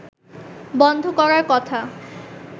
বন্ধ করার কথা